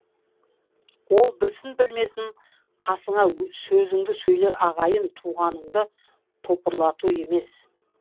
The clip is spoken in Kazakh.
ол білсін білмесін қасыңа сөзіңді сөйлер ағайын туғаныңды топырлату емес